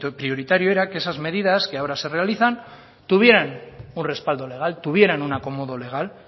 prioritario era que esas medidas que ahora se realizan tuvieran un respaldo legal tuvieran un acomodo legal